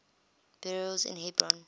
burials in hebron